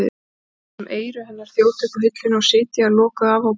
Lætur sem eyru hennar þjóti upp á hilluna og sitji þar lokuð ofan á bókunum.